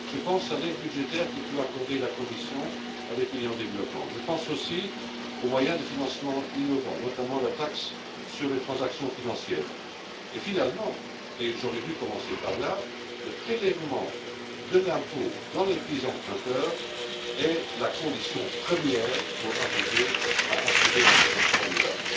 Je pense à l'aide budgétaire que peut accorder la Commission à des pays en développement. Je pense aussi aux moyens de financement innovants, notamment la taxe sur les transactions financières. Enfin, et j'aurais dû commencer par là, soulignons que le prélèvement de l'impôt dans les pays emprunteurs est la condition première pour assurer un financement durable.